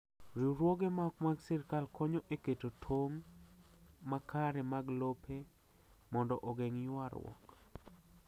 Riwruoge ma ok mag sirkal konyo e keto tong’ makare mag plope mondo ogeng’ ywarrupk.